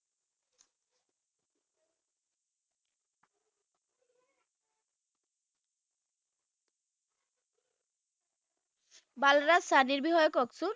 বালৰাজ চানিৰ বিষয়ে ককচোন